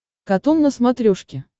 катун на смотрешке